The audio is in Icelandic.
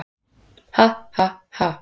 """Ha, ha, ha!"""